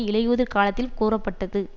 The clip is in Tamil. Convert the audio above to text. இலையுதிர் காலத்தில் கூறப்பட்டது